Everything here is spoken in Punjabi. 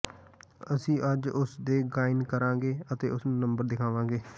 ਅਸੀਂ ਅੱਜ ਉਸ ਨੂੰ ਗਾਇਨ ਕਰਾਂਗੇ ਅਤੇ ਉਸ ਨੂੰ ਨੰਬਰ ਦਿਖਾਵਾਂਗੇ